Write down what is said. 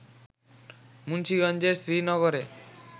মুন্সীগঞ্জের শ্রীনগরে